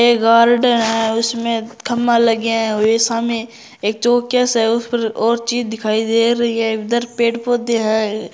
एक गार्डन है उसमें खंबा लगया है सामे एक चौकियां सा उस पर और चीज दिखाई दे रही है इधर पेड़ पौधे हैं।